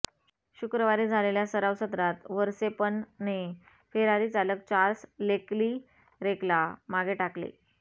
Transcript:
शुक्रवारी झालेल्या सराव सत्रात व्हर्स्टेपनने फेरारी चालक चार्ल्स लेकलिरेकला मागे टाकले